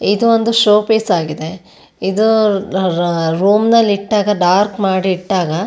ಇದೊಂದು showpiece ‌ ಆಗಿದೆ ಇದು ರೂಮ್ ನಲ್ಲಿ ಇಟ್ಟಾಗ ಡಾರ್ಕ್ ಮಾಡಿ ಇಟ್ಟಾಗ --